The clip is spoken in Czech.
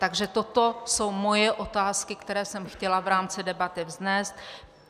Takže toto jsou moje otázky, které jsem chtěla v rámci debaty vznést.